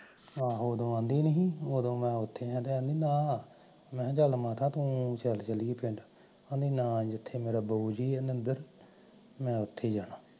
ਆਹੋ ਉਦੋ ਆਦੀ ਨੀ ਸੀ ਨਾ ਮੈਂ ਓਥੇ ਆ ਓ ਨਾ ਮਾਤਾ ਤੂ ਚੱਲ ਚੱਲੀਏ ਪਿੰਡ, ਕਹਣਦੀ ਨਾ ਜਿੱਥੇ ਮੇਰਾ ਬਾਊ ਜੀ ਆ ਨਿੰਦੇਰ ਮੈਂ ਓਥੇ ਹੀ ਜਾਣਾ